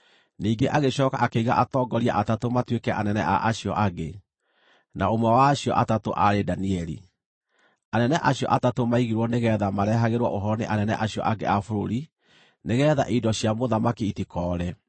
Ningĩ agĩcooka akĩiga atongoria atatũ matuĩke anene a acio angĩ, na ũmwe wa acio atatũ aarĩ Danieli. Anene acio atatũ maigirwo nĩgeetha marehagĩrwo ũhoro nĩ anene acio angĩ a bũrũri, nĩgeetha indo cia mũthamaki itikoore.